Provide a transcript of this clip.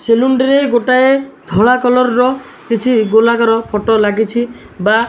salon ରେ ଗୋଟାଏ ଧଳା କଲର୍ ର କିଛି ଗୋଲାକାର ଫଟୋ ଲାଗିଛି ବା --